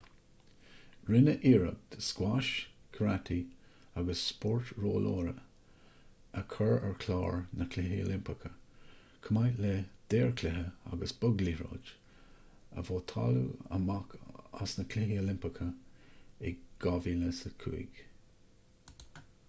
rinneadh iarracht scuais karate agus spórt rollóra a chur ar chlár na gcluichí oilimpeacha chomh maith le daorchluiche agus bogliathróid a vótáladh amach as na cluichí oilimpeacha in 2005